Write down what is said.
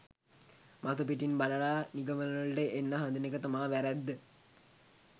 මතු පිටින් බලල නිගමනවලට එන්ඩ හදන එක තමා වැ‍රැද්ද